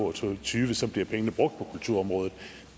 og to og tyve bliver pengene brugt på kulturområdet